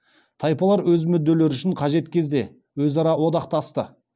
тайпалар өз мүдделері үшін қажет кезде өзара одақтасты